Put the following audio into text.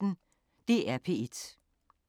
DR P1